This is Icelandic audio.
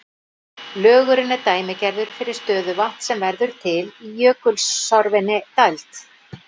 Lögurinn er dæmigerður fyrir stöðuvatn sem verður til í jökulsorfinni dæld.